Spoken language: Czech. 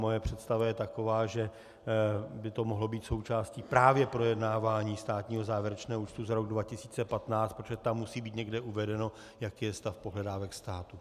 Moje představa je taková, že by to mohlo být součástí právě projednávání státního závěrečného účtu za rok 2015, protože tam musí být někde uvedeno, jaký je stav pohledávek státu.